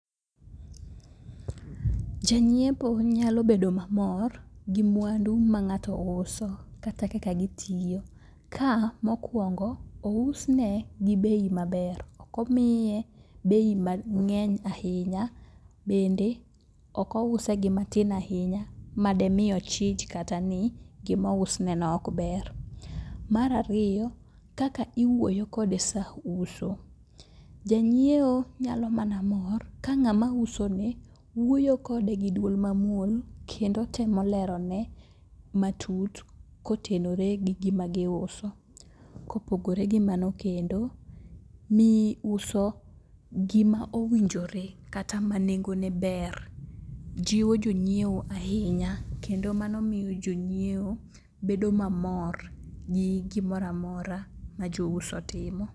Janyiepo nyalo bedo mamor gi mwandu ma ng'ato uso, kata kaka gitiyo, ka ,mokwongo, ousne gi bei maber. Ok omiye gi bei mang'eny ahinya, bende ok ouse gi matin ahinya, ma dimiye ochich kata ni gimousne no ok ber. Mar ariyo, kaka iwuoyo kode sa uso. Janyiewo nyalo mana mor ka ng'ama usone, wuoyo kode gi dwol mamuol kendo temo lerone matut kotenore gi gima giuso. Kopogore gi mano kendo, gima owinjore kata ma nengone ber, jiwo jonyiewo ahinya kendo mano miyo jonyiewo bedo mamor gi gimoro amora ma jouso timo.